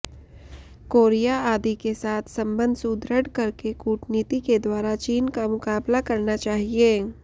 Korea आदि के साथ संबंध सुदृढ़ करके कूटनीति के द्वारा चीन का मुकाबला करना चाहिए